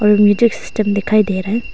और music system दिखाई दे रहा है।